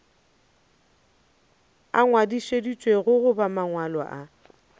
a ngwadišitšwego goba mangwalo a